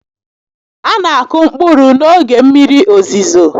A na akụ mkpụrụ n'oge mmiri ozizo